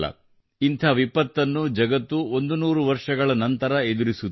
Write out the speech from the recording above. ಇಂಥ ವಿಪತ್ತನ್ನು ಜಗತ್ತು 100 ವರ್ಷಗಳ ನಂತರ ಎದುರಿಸುತ್ತಿದೆ